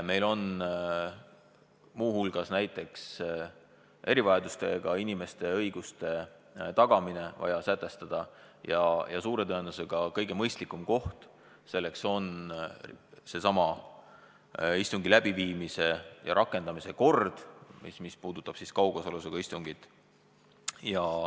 Meil on muu hulgas näiteks erivajadustega inimeste õiguste tagamine vaja sätestada ja suure tõenäosusega kõige mõistlikum koht selleks on sellesama istungi läbiviimise ja rakendamise kord, mis puudutab kaugosalusega istungit.